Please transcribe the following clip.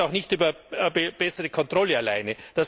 Das geht auch nicht über bessere Kontrolle alleine.